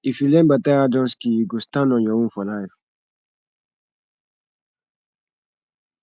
if you learn beta handon skill you go stand on your own for life